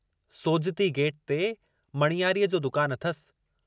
Sojati gate ते मणियारीअ जो दुकानु अथसि।